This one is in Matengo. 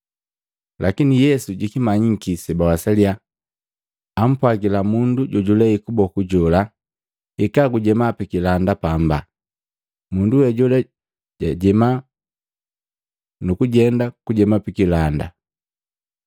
Lakini Yesu jikimanyiki sebawasalya, ampwagila mundu jojulei kuboku jola, “Hika gujema pikilanda pamba.” Mundu we jola jajema nukujenda kujema pikilanda.